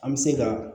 An bɛ se ka